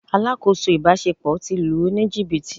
Alákòóso ìbáṣepọ̀ ti lù ú ní jìbìtì.